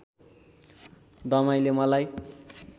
दमाईले मलाई